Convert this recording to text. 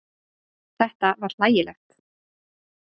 Þetta var hlægilegt.